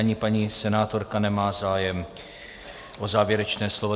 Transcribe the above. Ani paní senátorka nemá zájem o závěrečné slovo.